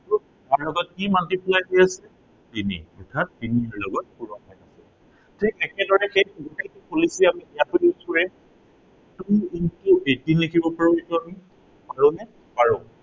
ইয়াৰ লগত কি multiply হৈ আছে, তিনি। অৰ্থাত তিনিৰ লগত পূৰণ হৈ আছে। ঠিক একেদৰে সেই একেই policy আমি ইয়াতো use কৰিম। two into eighteen লিখিব পাৰো এইটো আমি। পাৰো নে, পাৰো।